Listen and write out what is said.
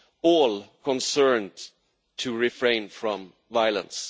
all concerned to refrain from violence.